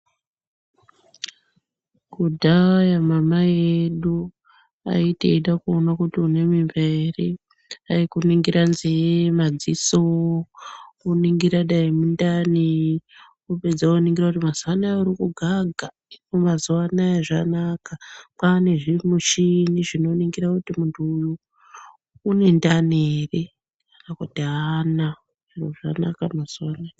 Kudhaya mamai edu aiti eide kuone kuti une mimba ere aikuringire nzee, madziso woningira dai mundani vopedza voningira kuti mazuwa anaya uri kugaga. Hino mazuwa anaya zvanaka kwane zvimichini zvekuningire kuti muntu uyu une ndani ere kana kuti aana. zviro zvanaka mazuwa ano.